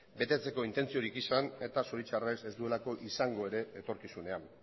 betetzeko intentziorik izan eta zoritxarrez ez duelako izango ere etorkizunean